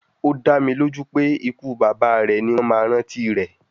Ó dá mi lójú pé ikú bàbá rẹ̀ ni wọ́n máa rántí rẹ̀